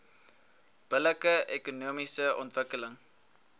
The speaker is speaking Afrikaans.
billike ekonomiese ontwikkeling